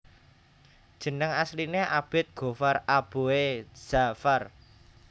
Jeneng asline Abid Ghoffar Aboe Dja far